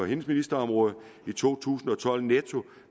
ministerområde i to tusind og tolv netto